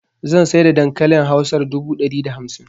Zan saida dankalin hausar dubu dari da hamsin